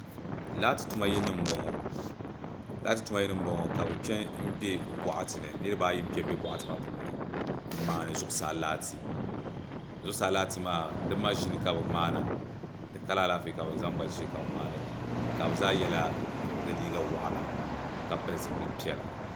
laati tuma yili nima m-bɔŋɔ ka bɛ kpe m-be bɔɣati ni niriba ayi n-kpe m-be bɔɣati maa puuni m-maani zuɣusaa laati zuɣusaa laati maa di maʒini ka bɛ maana di kala alaafee ka bɛ zaŋ ba ʒili ka bɛ maani li ka bɛ zaa yɛla di liiga waɣila ka pili zipil' piɛla